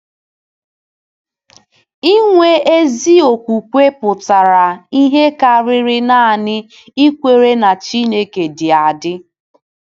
Inwe ezi okwukwe pụtara ihe karịrị nanị ikwere na Chineke dị adị.